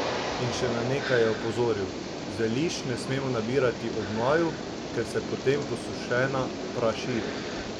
In še na nekaj je opozoril: "Zelišč ne smemo nabirati ob mlaju, ker se potem posušena prašijo.